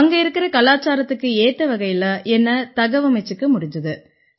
அங்க இருக்கற கலாச்சாரத்துக்கு ஏத்த வகையில என்னை தகவமைச்சுக்க முடிஞ்சுது